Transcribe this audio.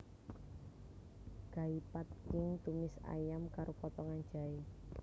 Gai Pad Khing tumis ayam karo potongan jahé